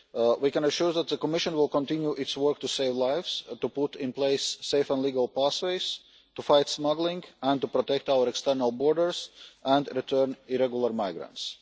We can assure that the Commission will continue its work to save lives, to put in place safe and legal pathways, to fight smuggling and to protect our external borders and return irregular migrants.